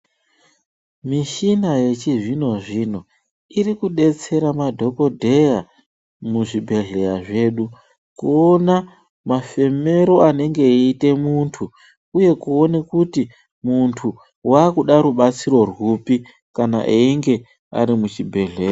Mishina yechizvino-zvino irikudetsera madhokodheya muzvibhedhleya zvedu kuona mafemero anenge eiita muntu. Uye kuona kuti muntu wakuda rubatsiro rwupi kana einge ari muchibhedhlera.